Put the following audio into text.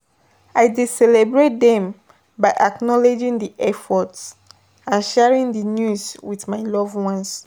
i dey celebrate dem by acknowledging di efforts, and sharing di news with my loved ones.